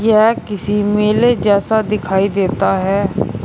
यह किसी मेले जैसा दिखाई देता है।